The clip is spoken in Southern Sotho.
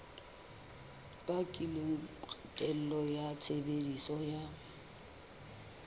bakileng kgatello ya tshebediso ya